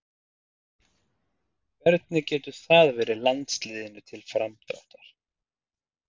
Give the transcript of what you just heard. Hvernig getur það verið landsliðinu til framdráttar?